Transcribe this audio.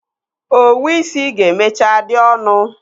Owu isi ga-emechaa dị ọnụ.